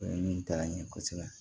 ɲɛ kosɛbɛ